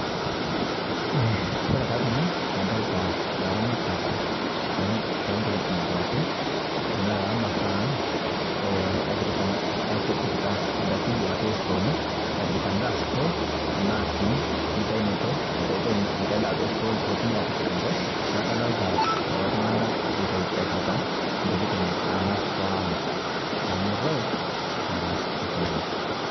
Koe taa tenee kadolitaa laramatak lontokitin duakee tanaa lamazaa ang' epikitaa ndaki duake stooni epikitaa ndaa store tanaa sii nkitainoto naitaitai ng'ai daa te store potumii atipik ng'hai naaku kadolitaa kuloo tungana eitaitaa epikitaa ntokitin anaa store ang' pomoroyo naa aiko nejaa.